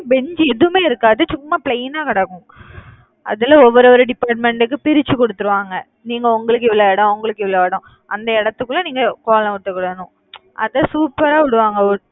பெஞ்சு எதுவுமே இருக்காது சும்மா plain ஆ கிடக்கும். அதுல ஒவ்வொரு ஒரு department க்கு பிரிச்சு குடுத்துருவாங்க நீங்க உங்களுக்கு இவ்வளவு இடம் உங்களுக்கு இவ்வளவு இடம் அந்த இடத்துக்குள்ள, நீங்க கோலம் போட்டுக்கணும் அதை super ஆ போடுவாங்க